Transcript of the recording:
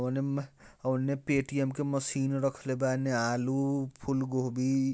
कोने म ओने पे_टी_ऍम की मशीन रखले बाऐने आलू फूलगोभी।